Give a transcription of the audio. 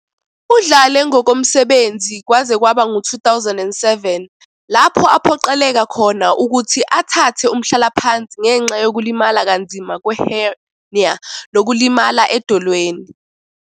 Udlale ngokomsebenzi kwaze kwaba ngu-2007, lapho aphoqeleka khona ukuthi athathe umhlalaphansi ngenxa yokulimala kanzima kwe- hernia nokulimala edolweni.